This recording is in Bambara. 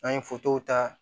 An ye ta